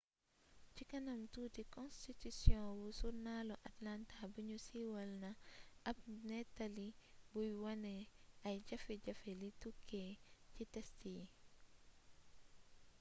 ci kanam tuuti konstitisiyon wu surnaalu atlanta buñu siiwal na ab néttali buy wone ay jafe-jafe li tukkee ci test yi